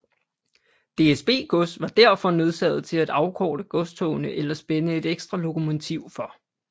DSB Gods var derfor nødsaget til at afkorte godstogene eller spænde et ekstra lokomotiv for